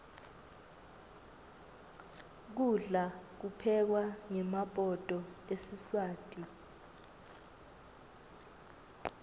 kudla kuphekwa ngemabhodo esiswati